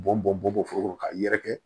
Bɔn bɔn bɔn bɔnfo ka yɛrɛkɛ